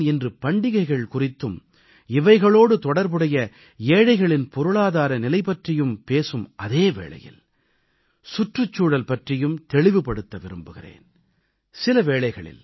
ஆனால் நான் இன்று பண்டிகைகள் குறித்தும் இவைகளோடு தொடர்புடைய ஏழைகளின் பொருளாதார நிலை பற்றியும் பேசும் அதே வேளையில் நான் சுற்றுச்சூழல் பற்றியும் தெளிவுபடுத்த விரும்புகிறேன்